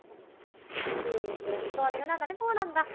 ਠੀਕ ਹੈ ਸੋਨੀ ਹੋਣਾਂ ਦਾ ਨੀ phone ਆਉਂਦਾ?